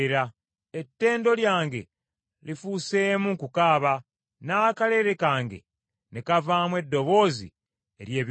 Ettendo lyange lifuuseemu kukaaba n’akalere kange ne kavaamu eddoboozi ery’ebiwoobe.”